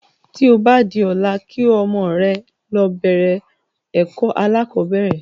Tí o ba di ọ̀la kí ọmọ rẹ lọ bẹ̀rẹ̀ ẹ̀kọ́ alákọ̀bẹ́rẹ̀